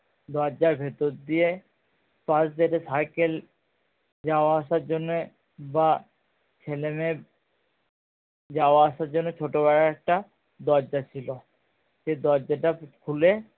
দরজার ভিতর দিয়ে পাস দিয়ে সাইকেল যাওয়া আসার জন্যে বা ছেলে মেয়ের যাওয়া আসার জন্যে ছোট বেড়ার একটা দরজা ছিল সেই দরজা টা খুলে